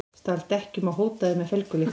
Stal dekkjum og hótaði með felgulykli